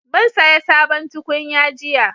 Mun saya sabon tukunya jiya